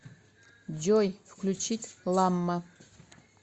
джой включить ламма